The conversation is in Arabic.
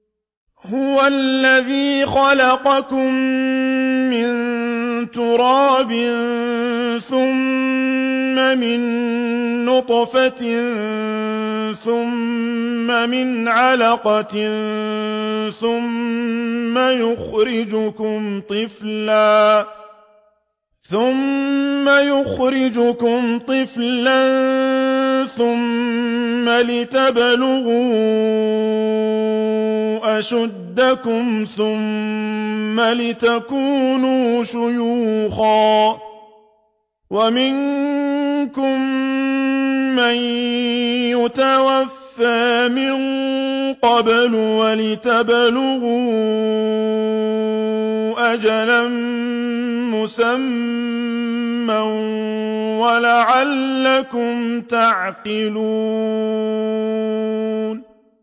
هُوَ الَّذِي خَلَقَكُم مِّن تُرَابٍ ثُمَّ مِن نُّطْفَةٍ ثُمَّ مِنْ عَلَقَةٍ ثُمَّ يُخْرِجُكُمْ طِفْلًا ثُمَّ لِتَبْلُغُوا أَشُدَّكُمْ ثُمَّ لِتَكُونُوا شُيُوخًا ۚ وَمِنكُم مَّن يُتَوَفَّىٰ مِن قَبْلُ ۖ وَلِتَبْلُغُوا أَجَلًا مُّسَمًّى وَلَعَلَّكُمْ تَعْقِلُونَ